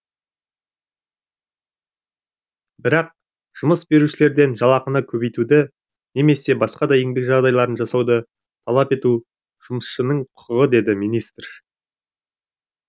бірақ жұмыс берушілерден жалақыны көбейтуді немесе басқа да еңбек жағдайларын жасауды талап ету жұмысшының құқығы деді министр